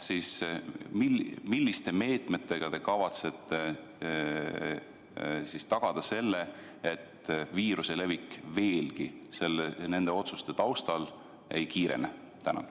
Milliste meetmetega te kavatsete tagada selle, et viiruse levik nende otsuste tõttu veelgi ei kiirene?